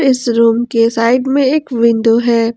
इस रूम के साइड में एक विंडो है।